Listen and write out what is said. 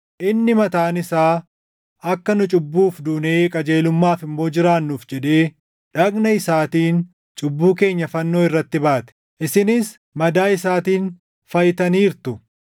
Inni mataan isaa akka nu cubbuuf duunee qajeelummaaf immoo jiraannuuf jedhee dhagna isaatiin cubbuu keenya fannoo irratti baate; isinis madaa isaatiin fayyitaniirtu.